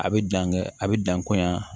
A bɛ dan kɛ a bɛ dan komi yan